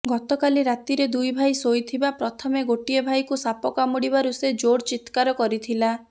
ଗତକାଲି ରାତିରେ ଦୁଇ ଭାଇ ଶୋଇଥିବା ପ୍ରଥମେ ଗୋଟିଏ ଭାଇକୁ ସାପ କାମୁଡ଼ିବାରୁ ସେ ଜୋର୍ ଚିତ୍କାର କରିଥିଲା